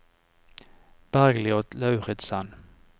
Bergljot Lauritzen